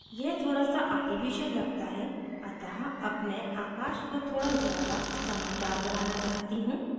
यह थोड़ासा artificial लगता है अतः अब मैं आकाश को थोड़ा ज़्यादा चमकदार बनाना चाहती हूँ